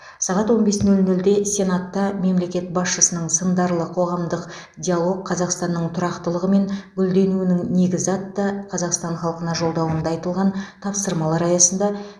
сағат он бес нөл нөлде сенатта мемлекет басшысының сындарлы қоғамдық диалог қазақстанның тұрақтылығы мен гүлденуінің негізі атты қазақстан халқына жолдауында айтылған тапсырмалар аясында